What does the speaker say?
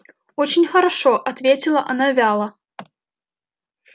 очень хорошо ответила она вяло